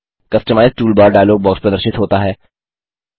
customise toolbar dialog box प्रदर्शित होता है